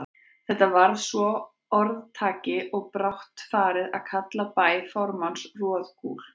Þetta varð svo að orðtaki, og brátt var farið að kalla bæ formanns Roðgúl.